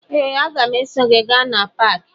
Ee, aga m eso gị gaa na paakị